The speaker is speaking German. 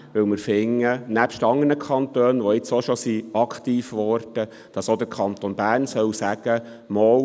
Dies, weil wir finden, dass der Kanton Bern – nebst anderen Kantonen, welche jetzt bereits aktiv geworden sind – sagen soll: